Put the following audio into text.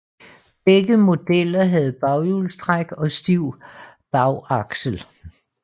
Begge modeller havde baghjulstræk og stiv bagaksel